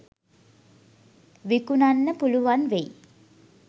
විකුන්න පුලුවන් වෙයි.